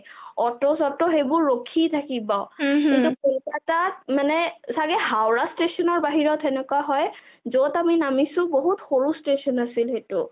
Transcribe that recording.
অট-চট সেইবোৰ ৰখি থাকিব কিন্ত কলকতাত মানে চাগে হাওৰা station বাহিৰত হেনেকোৱা হয় , যত আমি নামিছো বহুত সৰু station আছিল সেইটো